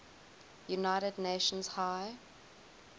united nations high